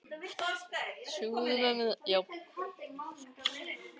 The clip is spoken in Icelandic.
En hvers vegna ætli það sé?